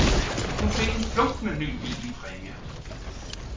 Hun fik en flunkende ny bil i præmie.